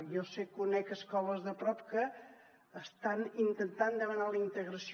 jo sé conec escoles de prop que estan intentant demanar la integració